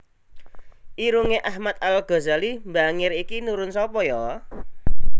Irunge Ahmad Al Ghazali mbangir iki nurun sopo yo